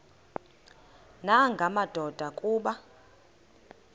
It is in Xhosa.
nanga madoda kuba